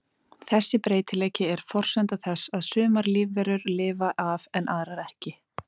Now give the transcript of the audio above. Þessi breytileiki er forsenda þess að sumar lífverur lifa af en aðrar ekki.